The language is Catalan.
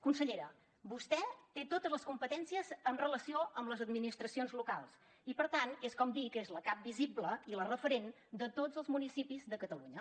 consellera vostè té totes les competències en relació amb les administracions locals i per tant és com dir que és la cap visible i la referent de tots els municipis de catalunya